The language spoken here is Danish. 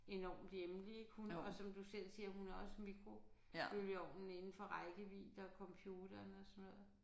Enormt hjemligt ik hun og som du selv siger hun har også mikrobølgeovnen indenfor rækkevidde og computeren og sådan noget